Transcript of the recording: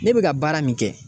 Ne bɛ ka baara min kɛ.